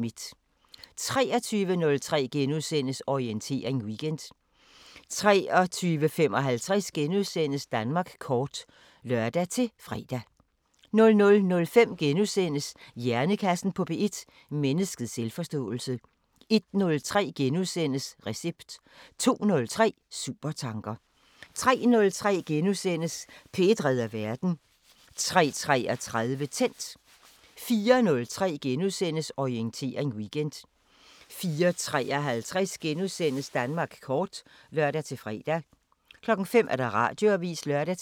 23:03: Orientering Weekend * 23:55: Danmark kort *(lør-fre) 00:05: Hjernekassen på P1: Menneskets selvforståelse * 01:03: Recept * 02:03: Supertanker 03:03: P1 redder verden * 03:33: Tændt 04:03: Orientering Weekend * 04:53: Danmark kort *(lør-søn) 05:00: Radioavisen (lør-fre)